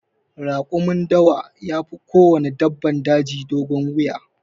Rakumin dawa yafi kowanne dabbar daji dogon wuya.